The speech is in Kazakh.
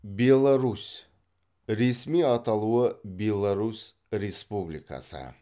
беларусь ресми аталуы беларусь республикасы